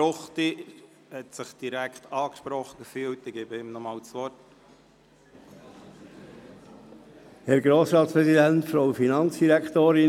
Ruchti fühlt sich direkt angesprochen, ich gebe ihm nochmals das Wort.